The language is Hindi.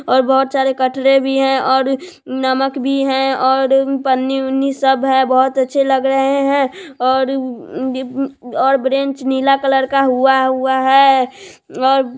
--और बहुत सारे कठरा भी है और नमक भी है और पन्नी ऊनि सब है बहुत अच्छे लग रहे है और अ ब्रेंच नीला कलर हुआ हुआ है और--